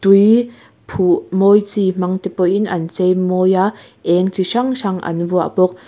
tui phuh mawi chi hmang te pawh in an chei mawi a eng chi hrang hrang an vuah bawk.